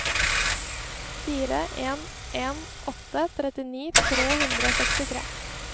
fire en en åtte trettini tre hundre og sekstitre